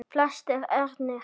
Flestir ernir